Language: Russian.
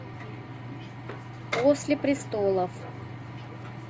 после престолов